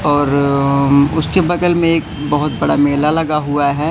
और अम उसके बगल में एक बहोत बड़ा मेला लगा हुआ है।